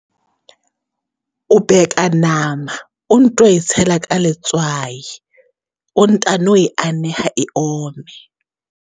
O beka nama, o nto e tshela ka letswai, o ntano e aneha e ome.